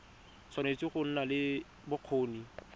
tshwanetse go nna le bokgoni